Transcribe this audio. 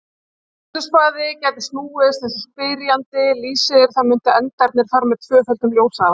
Ef þyrluspaði gæti snúist eins og spyrjandi lýsir þá mundu endarnir fara með tvöföldum ljóshraða.